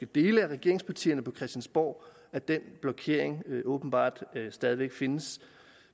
dele af regeringspartierne på christiansborg at den blokering åbenbart stadig væk findes